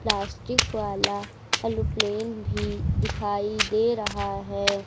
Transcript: Plastic वाला aeroplane भी दिखाइ दे रहा है।